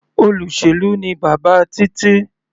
Olóṣèlú ni bàbá Títí.